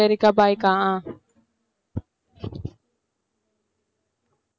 சரிக்கா bye கா